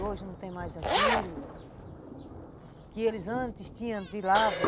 Hoje não tem mais aquilo que eles antes tinham de lavra.